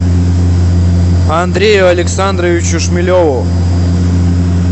андрею александровичу шмелеву